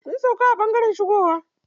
Mun sauƙa a ɓangaren shigowa.